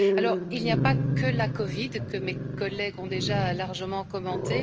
Alors il n'y a pas que la COVID, que mes collègues ont déjà largement commentée.